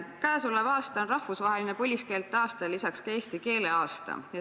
Käesolev aasta on rahvusvaheline põliskeelte aasta ja lisaks eesti keele aasta.